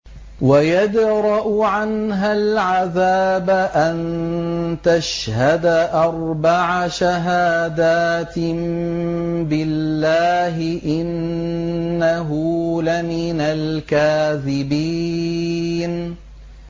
وَيَدْرَأُ عَنْهَا الْعَذَابَ أَن تَشْهَدَ أَرْبَعَ شَهَادَاتٍ بِاللَّهِ ۙ إِنَّهُ لَمِنَ الْكَاذِبِينَ